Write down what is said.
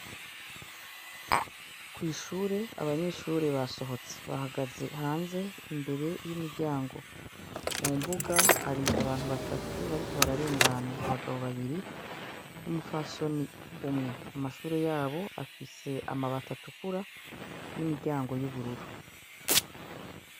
Kw'ishure abanyeshure basohotse bahagaze hanze imbere y'imiryango ,mu mbuga hari abantu batatu bariko bararengana abagabo babiri n'umupfasoni umwe , amashure yabo afise amabati atukura n'imiryango y'ubururu.